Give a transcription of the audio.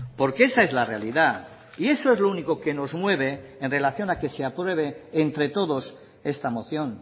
porque esa es la realidad y eso es lo único que nos mueve en relación a que se apruebe entre todos esta moción